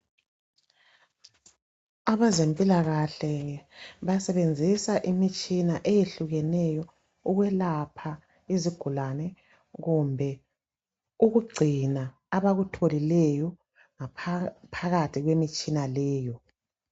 Abezempilakahle basebenzisa imitshina eyehlukeneyo ukwelapha izigulane kumbe ukugcina abakutholileyo ngaphakathi kwemitshina leyo.